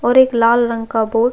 और एक लाल रंग का बोर्ड --